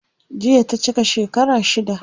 Jiya ta cika shekara shida.